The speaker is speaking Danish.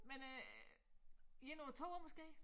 Men øh 1 eller 2 år måske